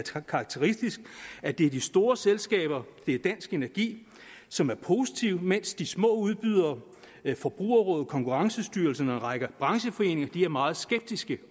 karakteristisk at det er de store selskaber det er dansk energi som er positive mens de små udbydere forbrugerrådet konkurrencestyrelsen og en række brancheforeninger er meget skeptiske